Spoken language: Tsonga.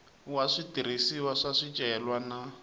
wa switirhisiwa swa swicelwa na